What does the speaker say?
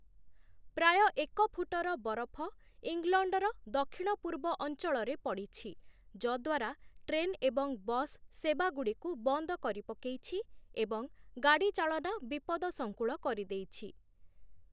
ପ୍ରାୟ ଏକ ଫୁଟର ବରଫ ଇଂଲଣ୍ଡର ଦକ୍ଷିଣ-ପୂର୍ବ ଅଞ୍ଚଳରେ ପଡ଼ିଛି, ଯଦ୍ୱାରା ଟ୍ରେନ୍ ଏବଂ ବସ୍ ସେବାଗୁଡ଼ିକୁ ବନ୍ଦ କରି ପକେଇଛି ଏବଂ ଗାଡ଼ି ଚାଳନା ବିପଦଶଙ୍କୁଳ କରିଦେଇଛି ।